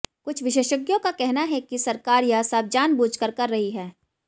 कुछ विशेषज्ञों का कहना है कि सरकार यह सब जानबूझकर कर रही है